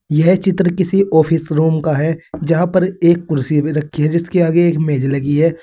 यह चित्र किसी ऑफिस रूम का है जहां पर एक कुर्सी भी रखी है जिसके आगे एक मेज लगी है।